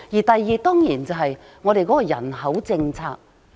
第二，當然是我們的人口政策。